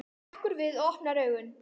Hann hrekkur við og opnar augun.